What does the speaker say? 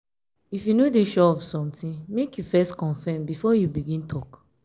if you no dey sure of somtin make you first confirm before you begin tok.